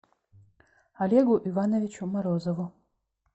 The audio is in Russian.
олегу ивановичу морозову